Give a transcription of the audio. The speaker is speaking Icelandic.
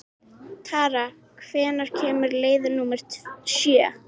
Tara, hvenær kemur leið númer sjö?